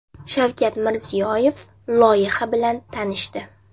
Shavkat Mirziyoyev loyiha bilan tanishdi.